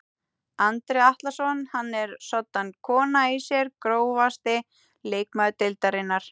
Andri Atlason hann er soddan kona í sér Grófasti leikmaður deildarinnar?